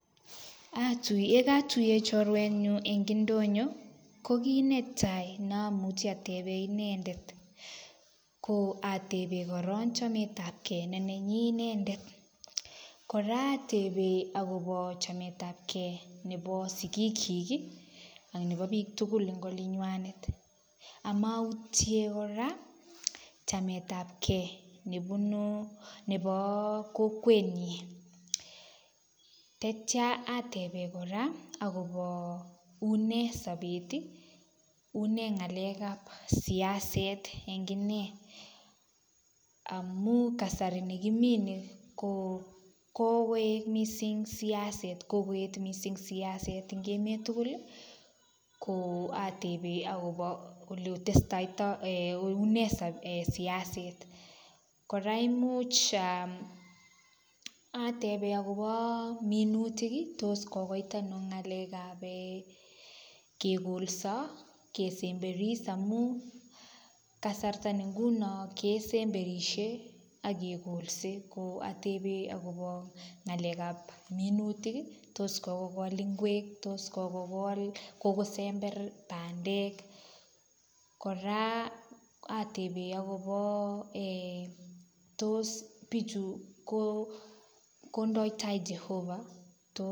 yekatuyen chorwenyun eng indonyo kokineta neomuche ateben inendet ko ateben koron chametabkee nenanyin inendet kora atebe akobo chametabkee nebo sigikyiki ak nebo biik tugul en olinywanet amoutien kora chametab kee nebo kokwenyin teitia ateben kora akobo unee sobeti unee ngalekap siaset en nginee amun kasari nekimi kokoet mising siaset kokoet mising siaset en emet tuguli koo atebe akobo unee siaset kora imuch aa ateben akoboo minutiki toskokoit anoo ngalekap kegolso kesemberis amun kasarta ni ngunon kesemberishe ak kekolse atebe akobo ngalekap minutik toss kokol ngweki tos kokol kokosember bandeki kora ateben akopo tos bichu kondoi taa jehova